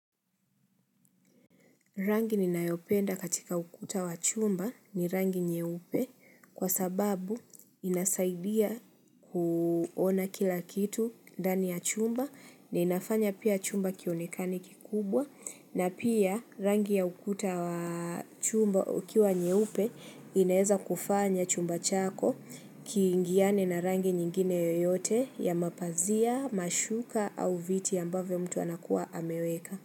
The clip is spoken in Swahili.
Rangi ninayopenda katika ukuta wa chumba ni rangi nyeupe kwa sababu inasaidia kuona kila kitu ndani ya chumba na inafanya pia chumba kionekane kikubwa na pia rangi ya ukuta wa chumba ukiwa nyeupe inaeza kufanya chumba chako kiingiane na rangi nyingine yoyote ya mapazia, mashuka au viti ambavyo mtu anakuwa ameweka.